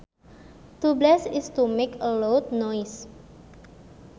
To blast is to make a loud noise